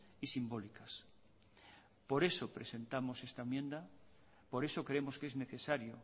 y simbólicas por eso presentamos esta enmienda por eso creemos que es necesario